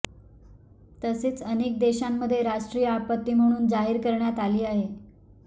तसेच अनेक देशांमध्ये राष्ट्रीय आपत्ती म्हणून जाहीर करण्यात आली आहे